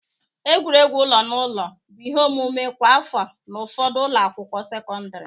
Egwuregwu ụlọ na ụlọ bụ ihe omume kwa afọ n'ụfọdụ ụlọ akwụkwọ sekọndịrị.